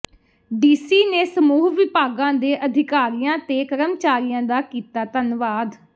DC ਨੇ ਸਮੂਹ ਵਿਭਾਗਾਂ ਦੇ ਅਧਿਕਾਰੀਆਂ ਤੇ ਕਰਮਚਾਰੀਆਂ ਦਾ ਕੀਤਾ ਧੰਨਵਾਦ